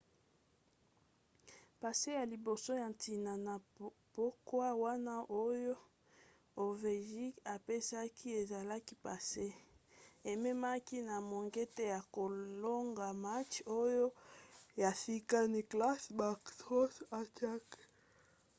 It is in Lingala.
passe ya liboso ya ntina na pokwa wana oyo ovechkin apesaki ezalaki passe ememaki na mongete ya kolonga match oyo moto ya sika nicklas backstrom atiaki;